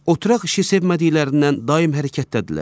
Oturaq işi sevmədiklərindən daim hərəkətdədirlər.